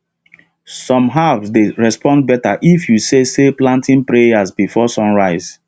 some herbs dey respond better if you say say planting prayers before sunrise